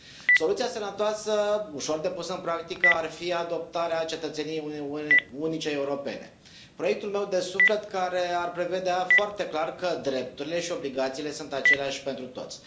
Soluția sănătoasă, ușor de pus în practică, ar fi adoptarea cetățeniei unice europene, proiectul meu de suflet, care ar prevedea foarte clar că drepturile și obligațiile sunt aceleași pentru toți.